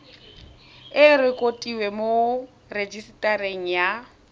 e rekotiwe mo rejisetareng ya